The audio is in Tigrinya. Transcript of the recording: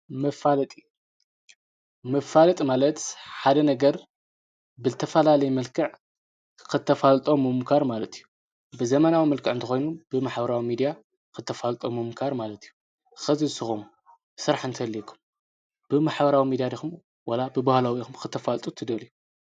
"መፋለጢ" መፋለጢ ማለት ሓደ ነገር ብዝተፈላለየ መልክዕ ክተፋልጦ ምሙኳር ማለት እዩ። ብዘመናዊ መልክዕ እንተኾይኑ ብማሕበራዊ ሚድያ ክተፋልጦ ምሙኳር ማለት እዩ። ሕዚ ንስኹም ስራሕ እንተሃልዩኩም ብማሕበራዊ ሚድያ ዲኹም ዋላ ብባህላዊ ኢኹም ክተፋልጡ እትደልዩ?